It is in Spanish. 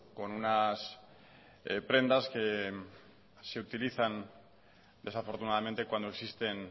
con unas prendas que se utilizan desafortunadamente cuando existen